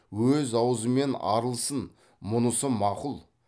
өз аузымен арылсын мұнысы мақұл